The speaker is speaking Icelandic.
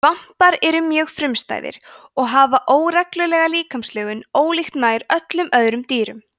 svampar eru mjög frumstæðir og hafa óreglulega líkamslögun ólíkt nær öllum öðrum dýrum